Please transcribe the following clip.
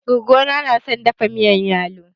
Gogo na na son dafa miyan yalo.